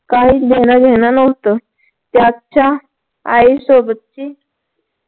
काहीच घेणं देणं नव्हतं त्याच्या आई सोबतची